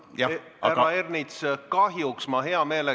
Härra Ernits!